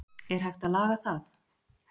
Er hægt að laga það?